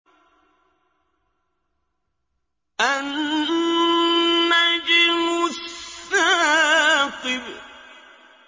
النَّجْمُ الثَّاقِبُ